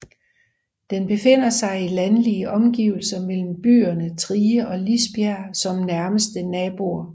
Den befinder sig i landlige omgivelser med byerne Trige og Lisbjerg som nærmeste naboer